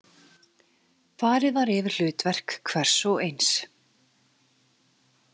Farið var yfir hlutverk hvers og eins.